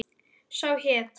Sá hét